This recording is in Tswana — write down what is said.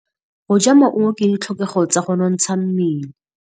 Go ja maungo ke ditlhokegô tsa go nontsha mmele.